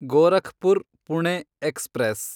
Gorakhpur Pune express